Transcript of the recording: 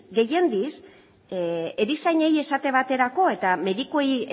gehienez erizainei esate baterako eta medikuei